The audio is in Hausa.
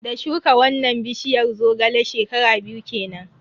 Da shuka wannan bishiyar Zogale, shekara biyu kenan.